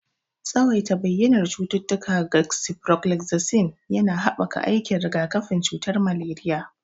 Tsawaita bayyanar cututtuka ga sifroflozasin yana haɓaka aikin rigakafin cutar maleriya.